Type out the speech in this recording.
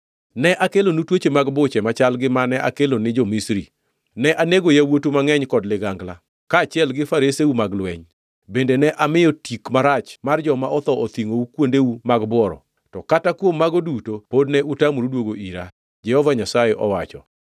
“Ne akelonu tuoche mag buche machal gi mane akelo ni jo-Misri. Ne anego yawuotu mangʼeny kod ligangla kaachiel gi fareseu mag lweny. Bende ne amiyo tik marach mar joma otho othingʼou e kuondeu mag bworo, to kata kuom mago duto pod ne utamoru duoga ira,” Jehova Nyasaye owacho.